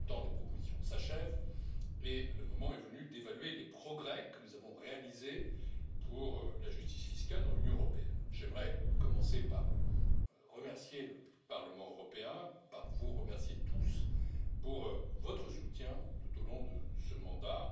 Le temps des propositions arrive à son terme et le moment est venu d'évaluer les progrès que nous avons réalisés pour la justice fiscale dans l'Union européenne. J'aimerais commencer par remercier le Parlement européen, par vous remercier tous pour votre soutien, tout au long de ce mandat.